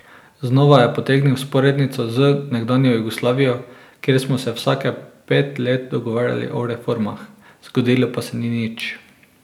Znova je potegnil vzporednico z nekdanjo Jugoslavijo, kjer smo se vsake pet let dogovarjali o reformah, zgodilo pa se ni nič.